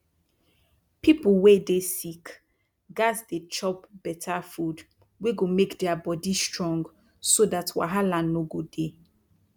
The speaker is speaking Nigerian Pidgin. pipu wey dey sick gats dey chop beta food wey go make dia bodi strong so dat wahala no go dey